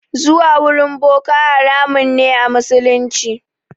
Zuwa wurin boka haramun ne a musulunci.